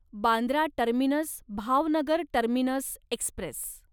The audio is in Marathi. Bandra terminus Bhavnagar terminus Express